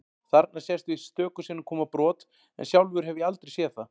Þarna sést víst stöku sinnum koma brot en sjálfur hef ég aldrei séð það.